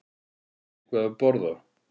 Eitthvað til að borða?